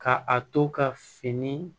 Ka a to ka fini